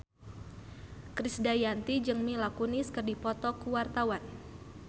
Krisdayanti jeung Mila Kunis keur dipoto ku wartawan